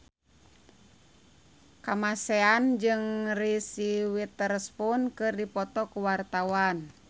Kamasean jeung Reese Witherspoon keur dipoto ku wartawan